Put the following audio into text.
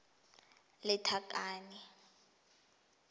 lethakane